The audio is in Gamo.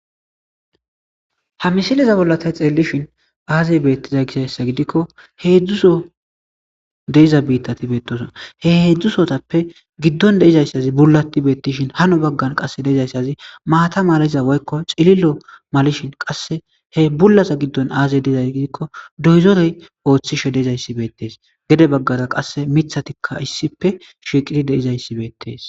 ha misiliza bollatay xeellishin aazey beettiza gisayssa gidikko heedzdzuso de'iza biittati beetoson he heedzdzusotappe giddon deizayssazi bulati beettishin hano baggan qasse deizayssazi maata maliza woykko cililo malishin qasse he bullasa giddon aazey deizaz gidikko doyizorey ooththi she dezayssi beettees gede baggaza qasse mithatikka issipe shiiqiti deizayssi beettees